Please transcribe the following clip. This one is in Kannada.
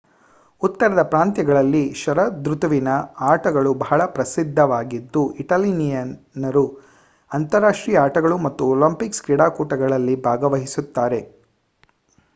ಉತ್ತರದ ಪ್ರಾಂತ್ಯಗಳಲ್ಲಿ ಷರದೃತುವಿನ ಆಟಗಳು ಬಹಳ ಪ್ರಸಿದ್ದವಾಗಿದ್ದು ಇಟಾಲಿಯನ್ನರು ಅಂತಾರಾಷ್ಟ್ರೀಯ ಆಟಗಳು ಮತ್ತು ಒಲಿಂಪಿಕ್ ಕೂಟಗಳಲ್ಲಿ ಭಾಗವಹಿಸುತ್ತಾರೆ